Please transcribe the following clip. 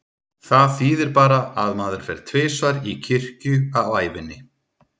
Það þýðir bara að maður fer tvisvar í kirkju á ævinni.